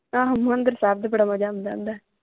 ਆਹੋ ਹਰਿਮੰਦਰ ਸਾਹਿਬ ਵੀ ਬੜਾ ਮਜਾ ਆਉਂਦਾ ਹੁੰਦਾ।